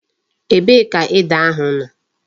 Ebee ka ede ahu no?